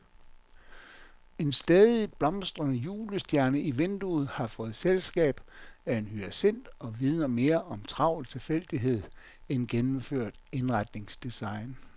En stadig blomstrende julestjerne i vinduet har fået selskab af en hyacint og vidner mere om travl tilfældighed end gennemført indretningsdesign.